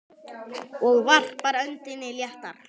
Og varpar öndinni léttar.